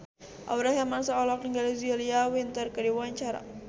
Aurel Hermansyah olohok ningali Julia Winter keur diwawancara